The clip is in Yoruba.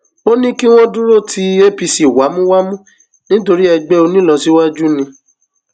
ó ní kí wọn dúró ti apc wámúwámú nítorí ẹgbẹ onílọsíwájú ni